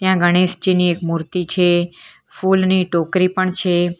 અ ગણેશજીની એક મૂર્તિ છે ફુલની ટોકરી પણ છે.